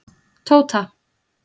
Tóta